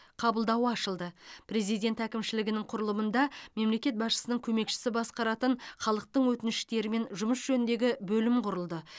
қабылдауы ашылды президент әкімшілігінің құрылымында мемлекет басшысының көмекшісі басқаратын халықтың өтініштерімен жұмыс жөніндегі бөлім құрылды